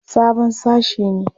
Sabon sashe ne.